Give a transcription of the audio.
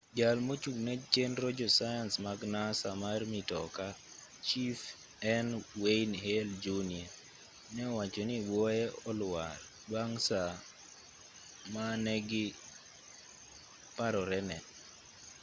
jal mochung'ne chenro josayans mag nasa mar mitoka chief n wayne hale jr ne owacho ni buoye olwar bang saa ma ne giparorene